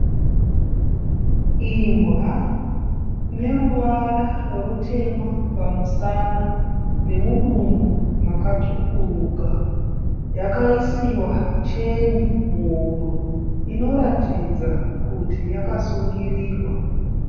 Imbwa ine ruvara rutema pamusana nemudumbu makatsvukuruka, yakaisiwa cheni muhuro inoratidza kuti yakasungirirwa.